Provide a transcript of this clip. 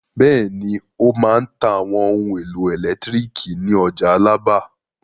Bẹ́ẹ̀ni, ó máa ta àwọn ohun-èlò ẹ̀lẹ́tíríkì ní ọjà Alábà.